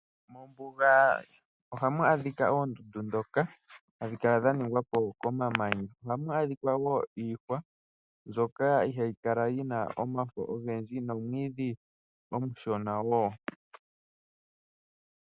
Mombuga ohamu adhika oondundu ndhoka hadhi kala dha ningwapo komamanya . Ohamu adhika woo iihwa mbyoka ihayi kala yina omafo ogendji nomwiidhi omushona woo.